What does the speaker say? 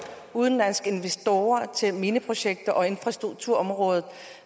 udenlandske investorer til mineprojekt og infrastrukturområdet